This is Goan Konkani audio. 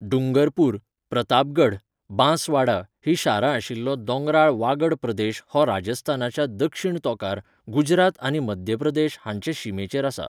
डूंगरपूर, प्रतापगढ, बांसवाडा हीं शारां आशिल्लो दोंगराळ वागड प्रदेश हो राजस्थानाच्या दक्षिण तोंकार, गुजरात आनी मध्य प्रदेश हांचे शिमेचेर आसा.